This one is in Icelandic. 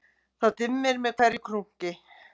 Það dimmir með hverju krunki